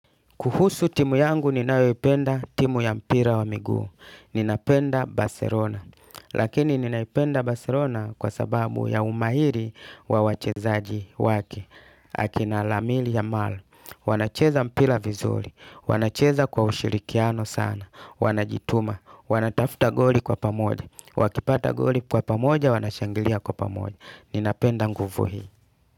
Kuhusu timu yangu ninayoipenda timu ya mpira wa miguu. Ninapenda baselona. Lakini ninaipenda baselona kwa sababu ya umahiri wa wachezaji waki. Akina alamil amal. Wanacheza mpira vizuri. Wanacheza kwa ushirikiano sana. Wanajituma. Wanatafta goli kwa pamodja. Wakipata goli kwa pamoja, wanashangilia kwa pamoja. Ninapenda nguvu hii.